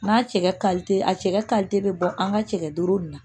N'a cɛ ka a cɛ kalite bɛ bɔ an ka cɛkɛ duuru in na